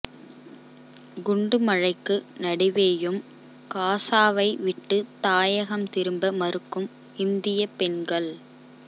குண்டு மழைக்கு நடுவேயும் காசாவைவிட்டு தாயகம் திரும்ப மறுக்கும் இந்திய பெண்கள்